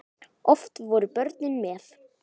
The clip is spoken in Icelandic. Oft voru börnin með.